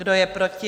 Kdo je proti?